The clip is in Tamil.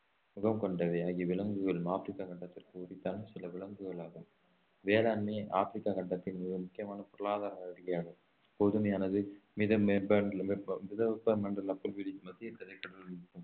முகம் கொண்டவை ஆகிய விலங்குகள் ஆப்பிரிக்கா கண்டத்திற்கு உரித்தான சில விலங்குகள் ஆகும் வேளாண்மை ஆப்பிரிக்கா கண்டத்தின் மிக முக்கியமான பொருளாதார கோதுமையானது மிதவெப்ப மண்டல புல்வெளிகள் மத்திய திரைக்கடல்